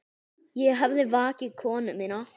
Ég hafði vakið konu mína.